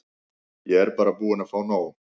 Ég er bara búin að fá nóg.